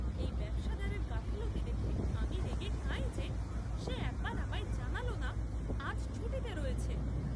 এই ব্যবসাদারের গাফিলতি দেখে আমি রেগে কাঁই যে, সে একবার আমায় জানালো না আজ ছুটিতে রয়েছে!